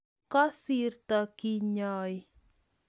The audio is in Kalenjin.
Kasirto kenyai